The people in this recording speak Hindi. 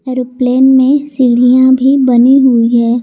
एरोप्लेन में सीढ़ियां भी बनी हुई है।